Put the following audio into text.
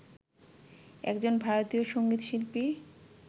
একজন ভারতীয় সংগীতশিল্পী